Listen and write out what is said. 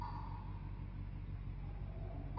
Það lýsir líðan minni, algerlega.